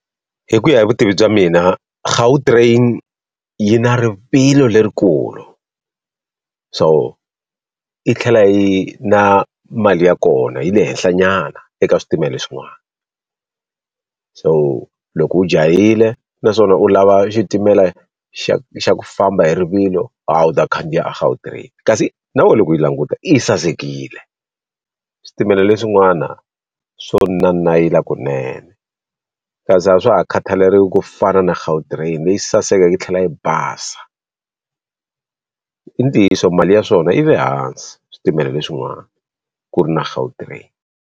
Hi ku ya hi vutivi bya mina Gautrain yi na rivilo lerikulu so yi tlhela yi na mali ya kona yi le henhla nyana eka switimela swin'wana so loko u jahile naswona u lava xitimela xa xa ku famba hi rivilo ha u ta khandziya Gautrain kasi na we loko u yi languta yi sasekile switimela leswin'wana swo nanayila kunene kasi a swa ha khataleriwi ku fana na Gautrain leyi sasekeke yi tlhela yi basa i ntiyiso mali ya swona yi le hansi switimela leswin'wana ku ri na Gautrain.